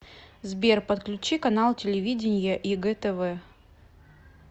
сбер подключи канал телевидения егэ тв